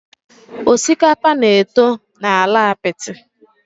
Osikapa na-eto na ala apiti.